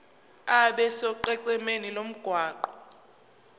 abe sonqenqemeni lomgwaqo